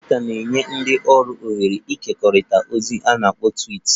"Twiita na-enye ndị ọrụ ohere ịkekọrịta ozi a na-akpọ ""twiits"""